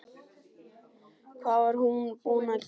Hvað var ég búin að gera?